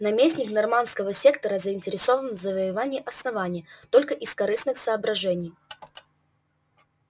наместник норманского сектора заинтересован в завоевании основания только из корыстных соображений